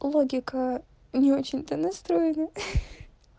логика не очень-то настроина